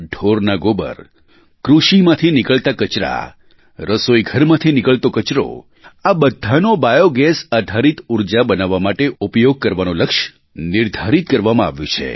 ઢોરના ગોબર કૃષિમાંથી નીકળતા કચરા રસોઈ ઘરમાંથી નીકળતો કચરો આ બધાનો બાયૉગેસ આધારિત ઊર્જા બનાવવા માટે ઉપયોગ કરવાનું લક્ષ્ય નિર્ધારિત કરવામાં આવ્યું છે